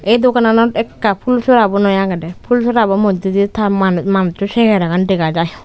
ey dogananot ekka pul sora bo noi agede pul sorabo moidde di ta mananusso segeragan dega jai.